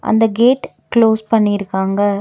அந்த gate close பண்ணி இருக்காங்க.